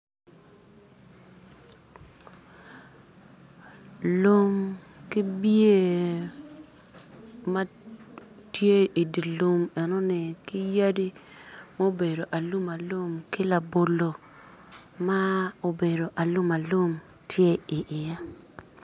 Lum ki bie matye idilum enoni ki yadi mobedo alumalum ki labolo ma obedo alumalum tye i ye.